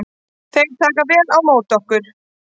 Þeir taka vel á móti okkur